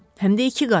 Həm də iki qat.